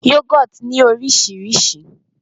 Yoghurt ní oríṣiríṣi